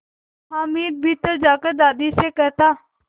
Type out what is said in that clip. हामिद भीतर जाकर दादी से कहता